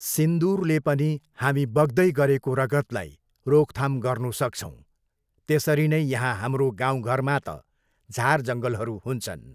सिन्दुरले पनि हामी बग्दै गरेको रगतलाई रोकथाम गर्नु सक्छौँ। त्यसरी नै यहाँ हाम्रो गाउँघरमा त झारजङ्गलहरू हुन्छन्।